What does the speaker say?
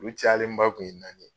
U cayalenba tun ye naani ye.